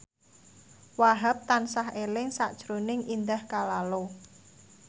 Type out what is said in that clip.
Wahhab tansah eling sakjroning Indah Kalalo